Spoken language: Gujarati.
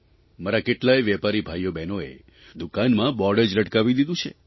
મારા કેટલાય વેપારી ભાઇઓબહેનોએ દુકાનમાં બોર્ડ જ લટકાવી દીધું છે